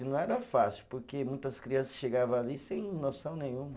E não era fácil, porque muitas crianças chegava ali sem noção nenhuma.